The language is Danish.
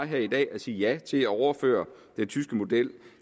her i dag sagde ja til at overføre den tyske model